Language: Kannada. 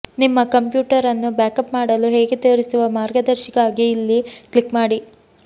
ನಿಮ್ಮ ಕಂಪ್ಯೂಟರ್ ಅನ್ನು ಬ್ಯಾಕಪ್ ಮಾಡಲು ಹೇಗೆ ತೋರಿಸುವ ಮಾರ್ಗದರ್ಶಿಗಾಗಿ ಇಲ್ಲಿ ಕ್ಲಿಕ್ ಮಾಡಿ